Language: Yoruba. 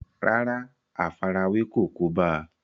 rárá, àfarawé kò kóbá a